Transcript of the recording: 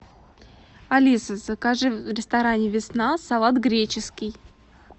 алиса закажи в ресторане весна салат греческий